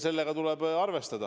Sellega tuleb arvestada.